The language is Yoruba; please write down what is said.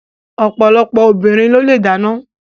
Ọ̀pọ̀lọpọ̀ obìnrin ló le dáná.